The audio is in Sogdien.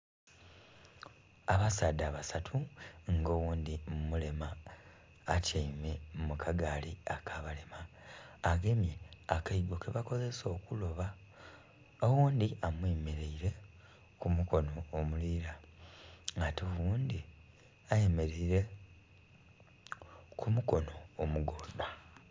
Abasaadha basatu nga oghundhi mulema atyaime mu akagaali aka balema agemye akaigo ke bakozesa okuloba, oghundhi amwe mereire ku mukonho omulila ate oghundhi ayemereire ku mukonho omugodha.